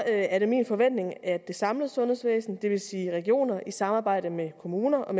er det min forventning at det samlede sundhedsvæsen det vil sige regionerne i samarbejde med kommunerne og